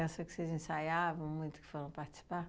que vocês ensaiavam muito, que foram participar?